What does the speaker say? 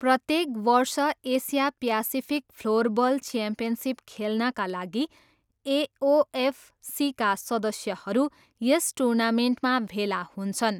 प्रत्येक वर्ष Asia Pacific floorball championship खेल्नाका लागि एओएफसीका सदस्यहरू यस टुर्नामेन्टमा भेला हुन्छन्।